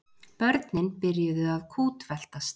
Börnin byrjuðu að kútveltast.